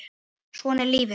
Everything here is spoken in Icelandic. Svona er lífið!